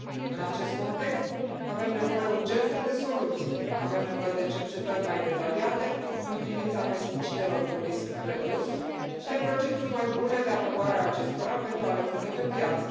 În acest context, avem nevoie urgentă de soluții, avem nevoie de cercetări mai detaliate în privința pesticidelor cu risc redus și de proceduri mai bune de aprobare a acestora pentru a le pune pe piață.